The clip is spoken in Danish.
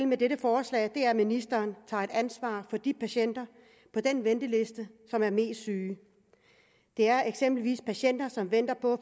med dette forslag er at ministeren tager et ansvar for de patienter på den venteliste som er mest syge det er eksempelvis patienter som venter på at